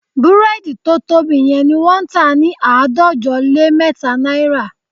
Búrẹ́dì tó tóbi yẹn ni wọ́n tà ní àádọ́jọ lé mẹ́ta náírà